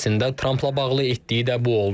Əslində Trampla bağlı etdiyi də bu oldu.